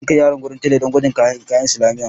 Zan kai yaran wajen tela do gwajin kayan makarantar islamiyya.